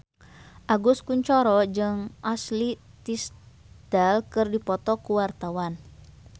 Agus Kuncoro jeung Ashley Tisdale keur dipoto ku wartawan